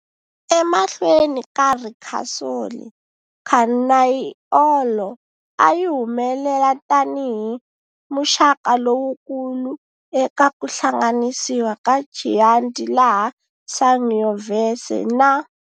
Emahlweni ka Ricasoli, Canaiolo ayi humelela tani hi muxaka lowukulu eka ku hlanganisiwa ka Chianti laha Sangiovese na.